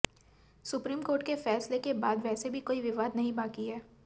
supreme court के फैसले के बाद वैसे भी कोई विवाद नहीं बाकी है